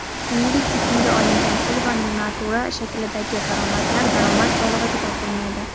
shuningdek tekinga olingan pul va natura shaklidagi daromadlar daromad solig‘iga tortilmaydi.